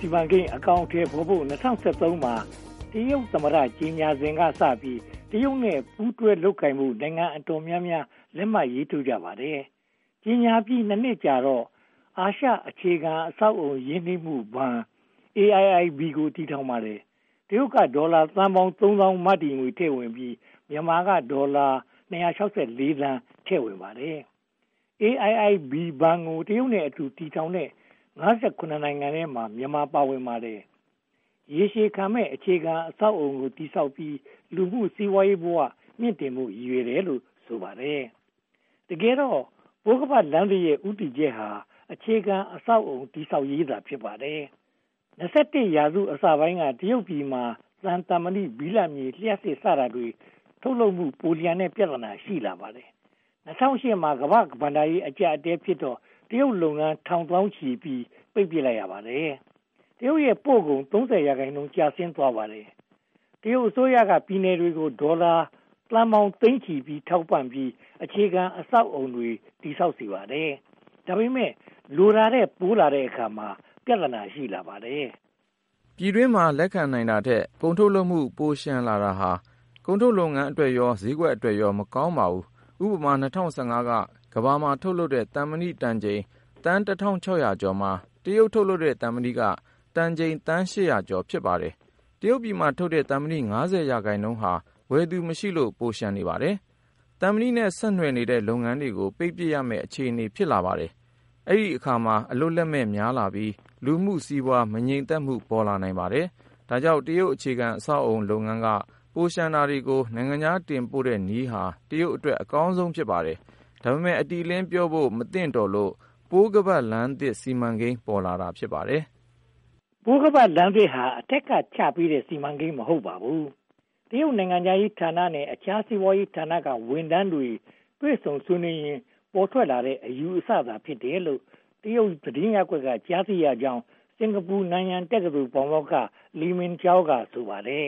စီမံကိန်း အကောင်အထည်ဖော်ဖို့ ၂၀၁၃ မှာ တရုတ်သမ္မတ ကြေညာစဉ်ကစပြီး တရုတ်နဲ့ ပူးတွဲလုပ်ကိုင်ဖို့ နိုင်ငံအတော်များများ လက်မှတ်ရေးထိုးခဲ့ကြပါတယ်။ ကြေညာပြီး (၂) နှစ်ကြာတော့ အာရှအခြေခံအဆောက်အအုံ ရင်းနှီးမှုဘဏ် (AIIB) ကို တည်ထောင်ပါတယ်။ တရုတ်ကဒေါ်လာသန်းပေါင်း (၂၉၇၈၀) မတည်ငွေထည့်ပြီး၊ မြန်မာကဒေါ်လာ (၂၆၄) သန်း ထည့်ဝင်ပါတယ်။ AIIB ဘဏ်ကို တရုတ်နဲ့အတူ တည်ထောင်တဲ့ (၅၇) နိုင်ငံထဲမှာ မြန်မာပါဝင်ပါတယ်။ ရေရှည်ခံမယ့် အခြေခံအဆောက်အအုံကို တည်ဆောက်ပြီး လူမှုစီးပွားရေးဘဝ မြှင့်တင်ဖို့ ရည်ရွယ်တယ်လို့ ဆိုပါတယ်။ တကယ်တော့ ပိုးခါးပတ်လမ်းသစ်ရဲ့ ဦးတည်ချက်က အခြေခံအဆောက်အအုံ တည်ဆောက်ရေးသာ ဖြစ်ပါတယ်။ (၂၁) ရာစု အစပိုင်းက တရုတ်ပြည်မှာ သံ၊ သံမဏိ၊ ဘိလပ်မြေ၊ လျှပ်စစ် စတာတွေ ထုတ်လုပ်မှု ပိုလျှံတဲ့ ပြဿနာ ရှိလာပါတယ်။ ၂၀၀၈ မှာ ကမ္ဘာ့ဘဏ္ဍာရေး အကျပ်အတည်းဖြစ်တော့ တရုတ်လုပ်ငန်း ထောင်သောင်းချီ ပိတ်ပင်လိုက်ရပါတယ်။ တရုတ်ပို့ကုန် (၃၀) ရာခိုင်နှုန်း ကျဆင်းသွားပါတယ်။ တရုတ်အစိုးရက ပြည်နယ်တွေကို ဒေါ်လာသန်းပေါင်းသိန်းချီ ထောက်ပံ့ပြီး အခြေခံအဆောက်အအုံတွေ တည်ဆောက်စေပါတယ်။ ဒါပေမဲ့ လိုတာထက်ပိုလာတဲ့အခါ ပြဿနာ ရှိလာပါတယ်။ ပြည်တွင်းမှာ လက်ခံနိုင်တာထက် ကုန်ထုတ်လုပ်မှု ပိုလျှံတာဟာ ကုန်ထုတ်လုပ်ငန်းအတွက်ရော၊ ဈေးကွက်အတွက်ရော မကောင်းပါဘူး။ ဥပမာ ၂၀၁၅ က ကမ္ဘာမှာထုတ်လုပ်တဲ့ သံမဏီတန်ချိန် သန်း (၁၆၀၀) ကျော်မှာ တရုတ်ထုတ်လုပ်တဲ့ သံမဏီက တန်သန်းချိန် (၈၀၀) ကျော် ဖြစ်ပါတယ်။ တရုတ်ပြည်မှာထုတ်တဲ့ သံမဏီ (၅၀) ရာခိုင်နှုန်းဟာ ဝယ်သူမရှိလို့ ပိုလျှံနေပါတယ်။ သံမဏီနဲ့ ဆက်နွယ်တဲ့ လုပ်ငန်းတွေကို ပိတ်ပစ်ရမယ့် အခြေအနေ ဖြစ်လာပါတယ်။ အဲဒီအခါမှာ အလုပ်လက်မဲ့ များလာပြီး လူမှုစီးပွားရေး မငြိမ်သက်မှု ပေါ်လာနိုင်ပါတယ်။ ဒါကြောင့် တရုတ်အခြေခံအဆောက်အအုံ လုပ်ငန်းက ပိုလျှံတာတွေကို နိုင်ငံခြားတင်ပို့တဲ့နည်းဟာ တရုတ်အတွက် အကောင်ဆုံး ဖြစ်ပါတယ်။ ဒါပေမဲ့ အတိအလင်းပြောဖို့ မသင့်တော်လို့ ပိုးခါးပတ်လမ်းသစ် စီမံကိန်း ပေါ်လာတာ ဖြစ်ပါတယ်။ ပိုးခါးပတ်လမ်းသစ်ဟာ အထက်ကချပေးတဲ့ စီမံကိန်း မဟုတ်ပါဘူး။ တရုတ်နိုင်ငံခြားရေးဌာနနဲ့ အခြားစီးပွားရေးဌာနက ဝန်ထမ်းတွေ တွေ့ဆုံဆွေးနွေးရင်း ပေါ်ထွက်လာတဲ့ အယူအဆသာ ဖြစ်တယ်လို့ တရုတ်သတင်းရပ်ကွက်က ကြားသိရကြောင်း စင်္ကာပူ-နန်ယန်တက္ကသိုလ် ပါမောက္ခ ‘လီမင်ကြောင်း’ က ဆိုပါတယ်